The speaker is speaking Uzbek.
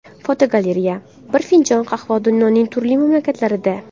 Fotogalereya: Bir finjon qahva dunyoning turli mamlakatlarida.